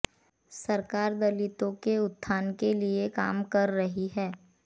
सरकार दलितों के उत्थान के लिए काम कर रही है